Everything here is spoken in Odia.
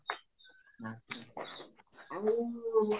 ଆଛା ଆଉ